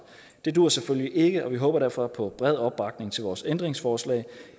det duer selvfølgelig ikke og vi håber derfor på bred opbakning til vores ændringsforslag